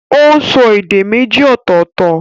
Ó n so èdè méjì ọ̀tọ̀ọ̀tọ̀